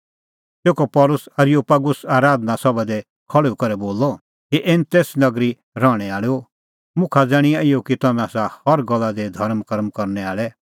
तेखअ पल़सी एरियोपागुस आराधना सभा दी खल़्हुई करै बोलअ हे एथेंस नगरी रहणैं आल़ैओ मुखा ज़ाण्हिंआं इहअ कि तम्हैं आसा हर गल्ला दी धर्मकर्म करनै आल़ै